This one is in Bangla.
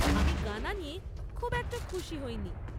আমি গানা নিয়ে খুব একটা খুশি হইনি।